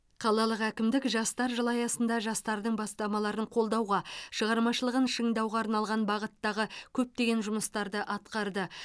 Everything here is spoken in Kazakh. қалалық әкімдік жастар жылы аясында жастардың бастамаларын қолдауға шығармашылығын шыңдауға арналған бағыттағы көптеген жұмыстарды атқарды